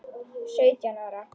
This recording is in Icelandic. Sautján ára?